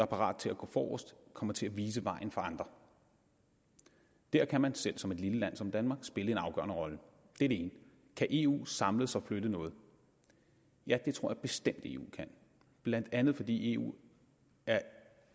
parat til at gå forrest kommer til at vise vejen for andre der kan man selv som et lille land som danmark spille en afgørende rolle det er det ene kan eu samles og flytte noget ja det tror jeg bestemt eu kan blandt andet fordi eu er